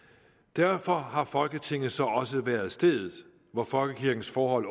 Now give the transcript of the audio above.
derfor har folketingets så også været stedet hvor folkekirkens forhold